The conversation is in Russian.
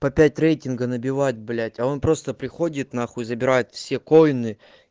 по пять рейтинга набивать блять а он просто приходит нахуй и забирает все коины